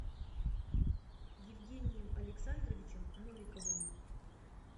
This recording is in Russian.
евгением александровичем новиковым